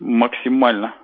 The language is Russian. максимально